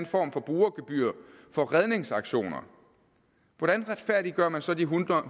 form for brugergebyr for redningsaktioner hvordan retfærdiggør man så de en hundrede